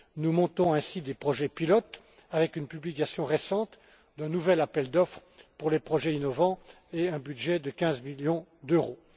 Nous montons ainsi des projets pilotes avec une publication récente d'un nouvel appel d'offres pour les projets innovants et un budget de 15 millions d'euros.